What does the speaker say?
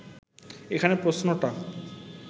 এখানে প্রশ্নটা